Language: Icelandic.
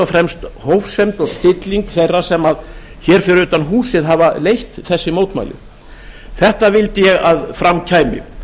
fremst hófsemd og stilling þeirra sem hér fyrir utan húsið hafa leitt þessi mótmæli þetta vildi ég að fram kæmi